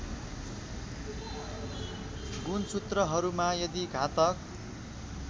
गुणसूत्रहरूमा यदि घातक